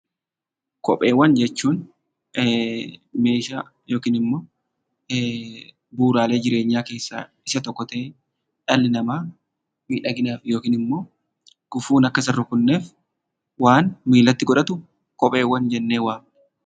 Kopheewwan jechuun meeshaa yookiin immoo bu'uuraalee jireenyaa keessaa isa tokko ta'ee, dhalli namaa miidhaginaaf yookiin immoo gufuun akka isa hin rukutneef waan miillatti godhatu kopheewwan jennee waamna.